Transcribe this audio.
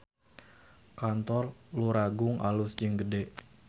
Kantor Luragung alus jeung gede